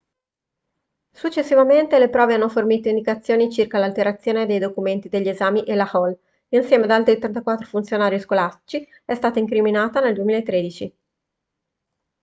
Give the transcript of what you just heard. successivamente le prove hanno fornito indicazioni circa l'alterazione dei documenti degli esami e la hall insieme ad altri 34 funzionari scolastici è stata incriminata nel 2013